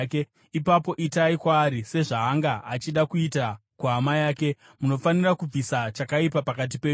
ipapo itai kwaari sezvaanga achida kuita kuhama yake. Munofanira kubvisa chakaipa pakati penyu.